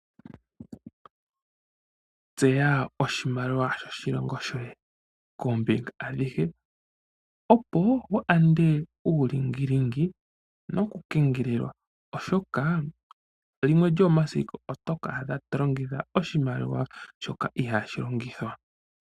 Tseya oshimaliwa shoshilongo shoye koombinga adhihe, opo wu yande uulingilingi nokukengelelwa, oshoka limwe lyomomasiku oto ka adha to longitha oshimaliwa shoka ihaashi longithwa.